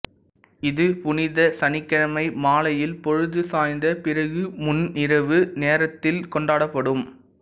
இது புனித சனிக்கிழமை மாலையில் பொழுது சாய்ந்த பிறகு முன்னிரவு நேரத்தில் கொண்டாடப்படும்